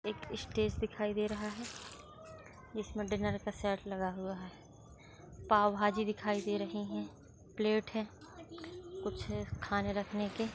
stage दिखाई दे रहा है जिस मे डिनर का सेट लगा हुआ है पाव भाजी दिखाई दे रही है प्लेट है कुछ खाने रखने के --